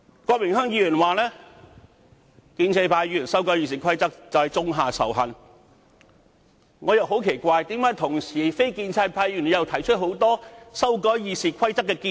郭榮鏗議員說，建制派議員修訂《議事規則》種下仇恨，我感到很奇怪，那為何非建制派議員亦同時提出了多項修訂《議事規則》的建議？